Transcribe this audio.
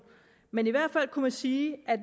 men i hvert fald kunne man sige at